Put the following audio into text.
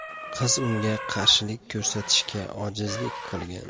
Qiz unga qarshilik ko‘rsatishga ojizlik qilgan.